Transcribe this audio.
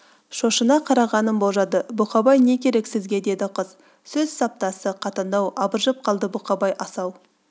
шошына қарағанын болжады бұқабай не керек сізге деді қыз сөз саптасы қатаңдау абыржып қалды бұқабай асау